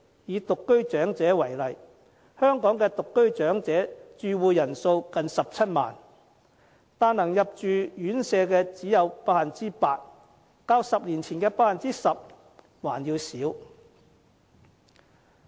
以獨居長者為例，香港的獨居長者住戶人數近17萬人，但可以入住院舍的只有 8%， 較10年前的 10% 還要少。